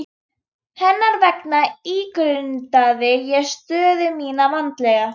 Hvað heldurðu að hann Lási segði, ha, Lóa-Lóa, kallaði hún.